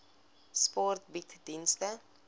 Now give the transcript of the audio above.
sport bied dienste